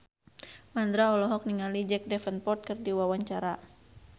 Mandra olohok ningali Jack Davenport keur diwawancara